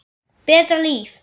Betra líf.